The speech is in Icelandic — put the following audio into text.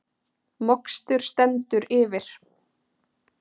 Mokstur stendur yfir